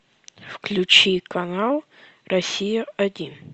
включи канал россия один